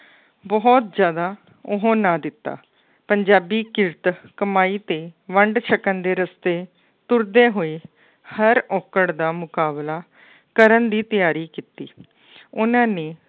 ਬਹੁਤ ਜ਼ਿਆਦਾ ਉਹ ਨਾ ਦਿੱਤਾ ਪੰਜਾਬੀ ਕਿਰਤ ਕਮਾਈ ਤੇ ਵੰਡ ਸਕਣ ਦੇ ਰਸਤੇ ਤੁਰਦੇ ਹੋਏ ਹਰ ਔਕੜ ਦਾ ਮੁਕਾਬਲਾ ਕਰਨ ਦੀ ਤਿਆਰੀ ਕੀਤੀ ਉਹਨਾਂ ਨੇ